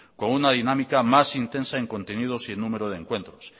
con una dinámica más intensa en contenidos y en número de encuentros